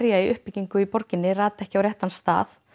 í uppbyggingu í borginni rati ekki á réttan stað